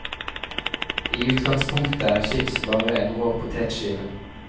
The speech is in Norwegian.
I utgangspunktet er chips bare en rå potetskive.